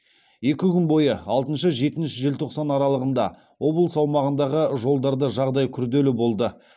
екі күн бойы алтыншы жетінші желтоқсан аралығында облыс аумағындағы жолдарда жағдай күрделі болды